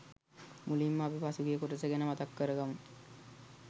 මුලින්ම අපි පසුගිය කොටස ගැන මතක් කරගම්මු.